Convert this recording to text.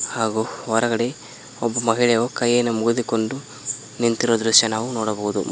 ಹಾಗು ಹೊರಗಡೆ ಒಬ್ಬ ಮಹಳೆಯು ಕೈಯನ್ನು ಮುಗದುಕೊಂಡು ನಿಂತಿರೋ ದೃಶ್ಯ ನಾವು ನೋಡಬಹುದು.